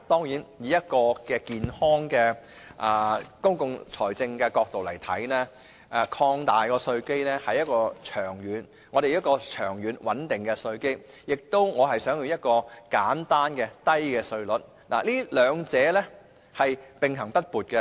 從健康的公共財政角度來看，擴闊稅基是長遠需要，長遠穩定的稅基與簡單低稅制兩者並行不悖。